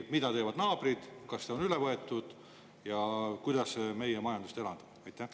Mida teevad naabrid, kas on üle võetud ja kuidas see meie majandust elavdab?